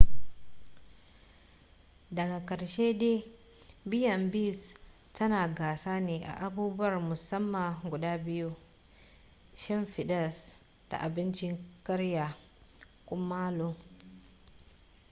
daga karshe dai b&bs tana gasa ne a abubuwar musamman guda biyu: shimfidas da abincin karya kumallo